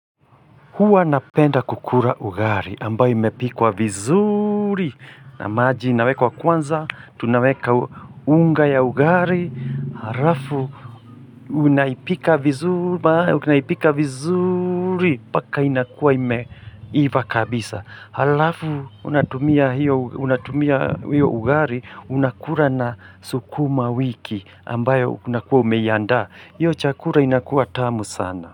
Huwa napenda kukura ugari ambayo imepikwa vizuri na maji inawekwa kwanza, tunaweka u unga ya ugari, harafu unaipika viz unaipika vizuri, paka inakua imeiva kabisa. Harafu unatumia hiyo unatumia hiyo ugari, unakura na sukuma wiki ambayo unakua umeanda. Hiyo chakura inakua tamu sana.